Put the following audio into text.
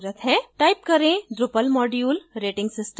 type करें drupal module rating system